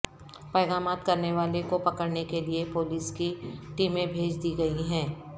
پیغامات کرنے والے کو پکڑنے کے لئے پولیس کی ٹیمیں بھیج دی گئی ہیں